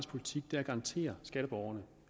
politik er at garantere skatteborgerne